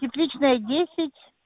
тепличная десять